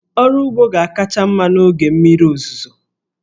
Ọrụ ugbo ga-akacha mma n'oge mmiri ozuzo.